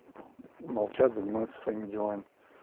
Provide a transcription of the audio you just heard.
молчат занимаются своими делами